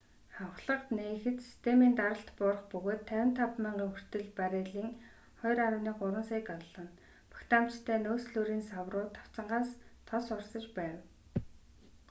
хавхлага нээхэд системийн даралт буурах бөгөөд 55,000 хүртэл баррелийн 2,3 сая галлон багтаамжтай нөөцлүүрийн сав руу тавцангаас тос урсаж байв